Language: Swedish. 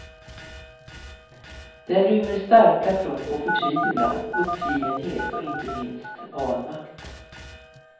Den rymmer starka prov på förtvivlan, uppgivenhet och inte minst vanmakt.